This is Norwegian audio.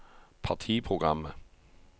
partiprogrammet